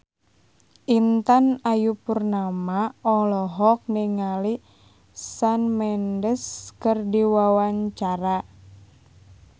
Intan Ayu Purnama olohok ningali Shawn Mendes keur diwawancara